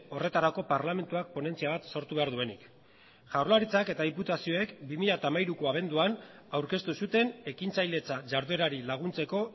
horretarako parlamentuak ponentzia bat sortu behar duenik jaurlaritzak eta diputazioek bi mila hamairuko abenduan aurkeztu zuten ekintzailetza jarduerari laguntzeko